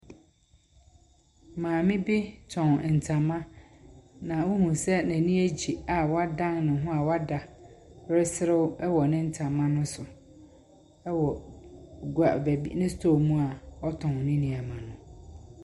Maame bi tɔn ntama. Na wohu sɛ n'ani agye a wadan ne ho a wada reserew wɔ ne ntama no so wɔ gua baa Wɔ ne store mu a ɔtɔn ne nneɛma no.